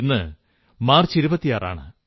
ഇന്ന് മാർച്ച് 26 ആണ്